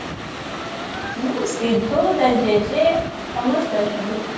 ହୁଁ ସିଧୁ ତା ଜେଜେ ସମସ୍ତେ ଅଛନ୍ତି